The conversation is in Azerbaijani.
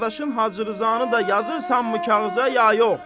Qardaşın Hacı Rzanı da yazırsanmı kağıza ya yox?